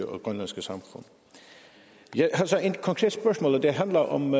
og grønlandske samfund jeg har så et konkret spørgsmål og det handler om